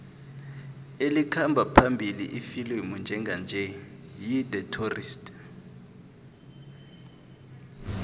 elikhamba phambili ifilimu njenganje yi the tourist